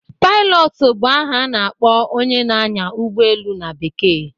Pailọt bụ aha na-akpọ onye na-anyá ụgbọelu na Bekee